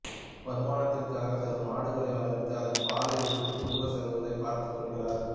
வருமானத்திற்காக சில மாடுகளை வளர்த்து அதன் பாலை விற்று குடும்பச் செலவைப் பார்த்துக் கொள்கிறார்